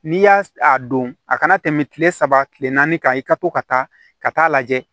N'i y'a don a kana tɛmɛ kile saba kile naani kan i ka to ka taa ka taa lajɛ